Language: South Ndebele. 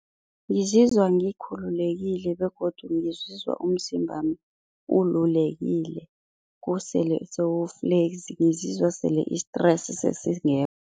Ngizizwa ngikhululekile begodu ngizizwa umzimbami ululekile, usele sewu-flexi ngizizwa sele i-stress sesingekho.